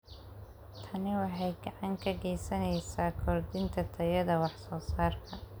Tani waxay gacan ka geysaneysaa kordhinta tayada wax soo saarka.